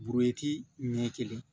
ɲɛ kelen